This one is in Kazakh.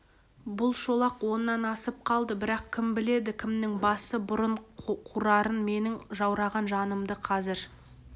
бұл шолақ оннан асып қалды бірақ кім біледі кімнің басы бұрын қурарын менің жаураған жанымды қазір